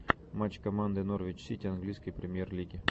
матч команды норвич сити английской премьер лиги